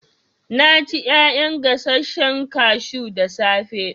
Na ci ƴaƴan gasashen kashu da safe